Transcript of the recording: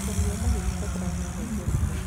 Ũrĩmi wa mahiũ nĩ ũbataraga maĩ matheru o mũthenya.